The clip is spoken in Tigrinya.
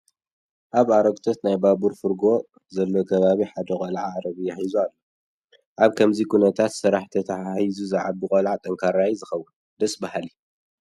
ኣብ ኣረግቶት ናይ ባቡር ፍርጐ ዘለዎ ከባቢ ሓደ ቆልዓ ዓረብያ ሒዙ ኣሎ፡፡ ኣብ ከምዚ ኩነት ምስ ስራሕ ተተሓሒዙ ዝዓቢ ቆልዓ ጠንካራ እዩ ዝኸውን፡፡ ደስ በሃሊ፡፡